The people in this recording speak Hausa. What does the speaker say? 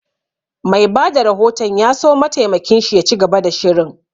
Mai bada rahoton ya so mataimakin shi ya ci gaba da shirin